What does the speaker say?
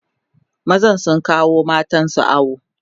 mazan sun kawo matansu awo